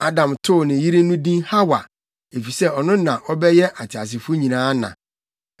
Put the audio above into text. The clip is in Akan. Adam too ne yere no din Hawa, efisɛ ɔno na ɔbɛyɛ ateasefo nyinaa na.